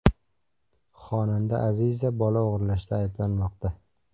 Xonanda Aziza bola o‘g‘irlashda ayblanmoqda .